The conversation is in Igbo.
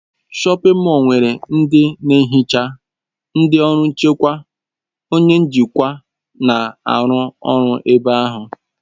Shọpin mọll nwere ndị na-ehicha ihe, ndị ọrụ nchekwa, onye njikwa, na-arụ ọrụ ebe ahụ.